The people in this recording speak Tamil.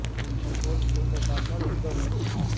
இன்பம்போல் குளிர்ந்தகாற்றால் இன்ப மூட்டி